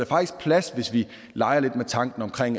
faktisk plads hvis vi leger lidt med tanken om